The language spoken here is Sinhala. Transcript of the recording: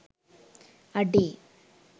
අඩේ